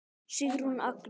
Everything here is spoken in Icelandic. Sigrún Agnes.